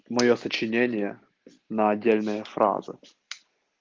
моё сочинение на отдельные фразы